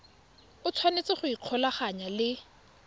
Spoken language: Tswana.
o tshwanetse go ikgolaganya le